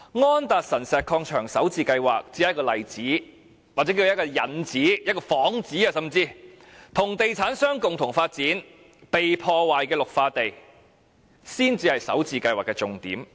安達臣石礦場首置計劃只是一個例子，或者叫作一個引子，甚至是一個幌子，與地產商共同發展已遭破壞的綠化地，才是首置計劃的重點。